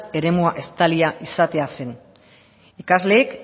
eremua estalia izatea zen ikasleek